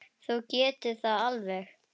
Þú getur það alveg.